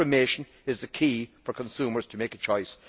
Information is the key for consumers to make a choice.